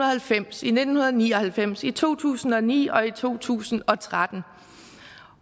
halvfems i nitten ni og halvfems i to tusind og ni og i to tusind og tretten